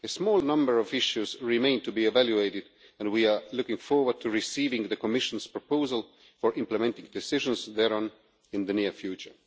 A small number of issues remain to be evaluated and we are looking forward to receiving the Commission's proposal for implementing decisions thereon in the near future.